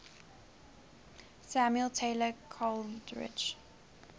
samuel taylor coleridge